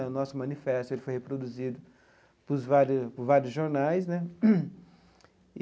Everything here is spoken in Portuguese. O nosso manifesto ele foi reproduzido por vários vários jornais né.